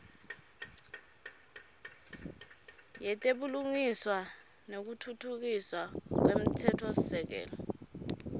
yetebulungiswa nekutfutfukiswa kwemtsetfosisekelo